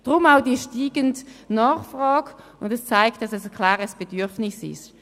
Darum auch die steigende Nachfrage, die zeigt, dass es ein klares Bedürfnis gibt.